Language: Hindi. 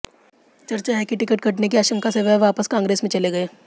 चर्चा है कि टिकट कटने की आशंका से वह वापस कांग्रेस में चले गए